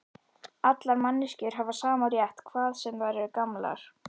Allar manneskjur hafa sama rétt, hvað sem þær eru gamlar.